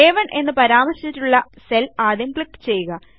അ1 എന്ന് പരാമർശിച്ചിട്ടുള്ള സെൽ ആദ്യം ക്ലിക്ക് ചെയ്യുക